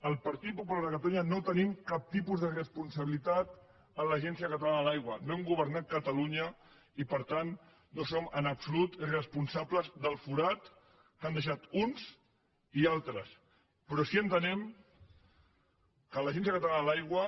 el partit popular de catalunya no tenim cap tipus de responsabilitat en l’agència catalana de l’aigua no hem governat catalunya i per tant no som en absolut responsables del forat que han deixat uns i altres però sí que entenem que per l’agència catalana de l’aigua